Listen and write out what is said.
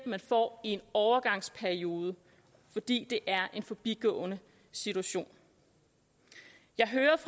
man får i en overgangsperiode fordi det er en forbigående situation jeg hørte